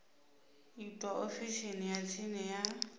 itwa ofisini ya tsini ya